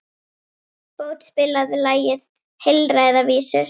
Bót, spilaðu lagið „Heilræðavísur“.